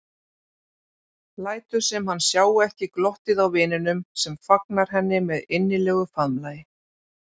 Lætur sem hann sjái ekki glottið á vininum sem fagnar henni með innilegu faðmlagi.